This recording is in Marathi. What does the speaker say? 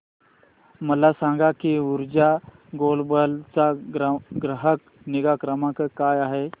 मला सांग की ऊर्जा ग्लोबल चा ग्राहक निगा क्रमांक काय आहे